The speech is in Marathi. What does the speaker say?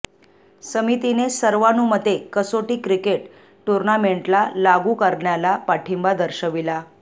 समितीने सर्वानुमते कसोटी क्रिकेट टूर्नामेंटला लागू करण्याला पाठिंबा दर्शवला